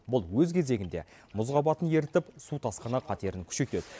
бұл өз кезегінде мұз қабатын ерітіп су тасқыны қатерін күшейтеді